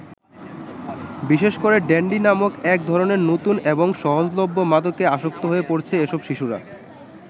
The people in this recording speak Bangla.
বিশেষ করে ড্যান্ডি নামক এক ধরনের নতুন এবং সহজলভ্য মাদকে আসক্ত হয়ে পড়েছে এসব শিশুরা।